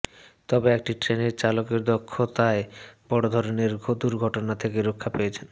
তবে একটি ট্রেনের চালকের দক্ষতায় বড় ধরনের দুর্ঘটনা থেকে রক্ষা পেয়েছেন